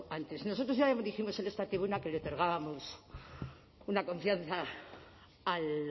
antes nosotros ya dijimos en esta tribuna que le otorgábamos una confianza al